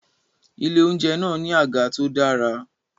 Ilé-oúnjẹ náà ní àga tó dára